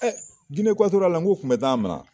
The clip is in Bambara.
Ɛɛ Gine Ekatoriyali la ngo u kun bi taa a minɛ.